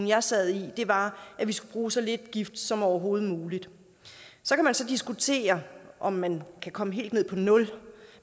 jeg sad i var at vi skulle bruge så lidt gift som overhovedet muligt så kan man så diskutere om man kan komme helt ned på nul